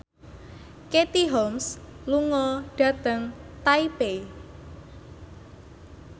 Katie Holmes lunga dhateng Taipei